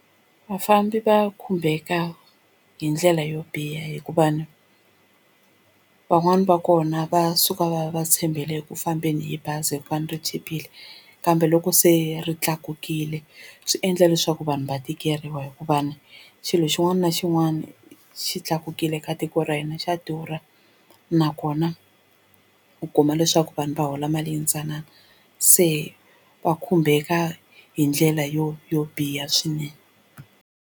Vafambi va khumbeka hi ndlela yo biha hikuva ni van'wani va kona va suka va va tshembele eku fambeni hi bazi hikuva ni ri chipile kambe loko se ri tlakukile swi endla leswaku vanhu va tikeriwa hikuva ni xilo xin'wana na xin'wana xi tlakukile ka tiko ra hina xa durha nakona u kuma leswaku vanhu va hola mali yintsanana se va khumbeka hi ndlela yo yo biha swinene.